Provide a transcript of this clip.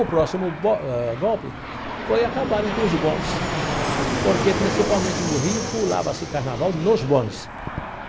O próximo bo eh golpe foi acabarem com os bondes, porque, principalmente no Rio, pulava-se Carnaval nos bondes.